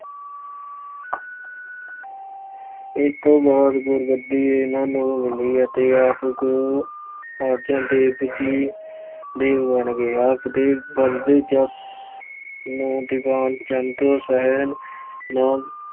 ਇਸ ਤੋਂ ਬਾਅਦ ਗੁਰਗੱਦੀ ਇਹਨਾਂ ਨੂੰ ਮਿਲੀ ਅਤੇ ਗੁਰੂ ਅਰਜਨ ਦੇਵ ਜੀ ਦੇਵ ਜੀ ਬਣ ਗਏ। ਆਪ ਦੇ ਵਧਦੇ ਜਸ ਨੂੰ ਦੀਵਾਨ ਚੰਦ ਸਹਿਣ ਨਾ